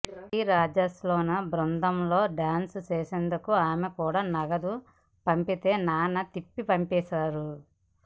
నటి రాజసులోచన బృందంలో డాన్సు చేసినందుకు ఆమె కూడా నగదు పంపితే నాన్న తిప్పి పంపేశారు